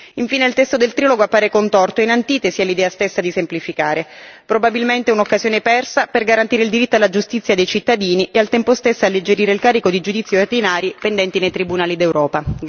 Infine, il testo del trilogo appare contorto, in antitesi all'idea stessa di semplificare, probabilmente un'occasione persa per garantire il diritto alla giustizia dei cittadini e al tempo stesso alleggerire il carico di giudizi ordinari pendenti nei tribunali d'Europa.